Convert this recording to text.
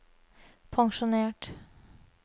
pensjonert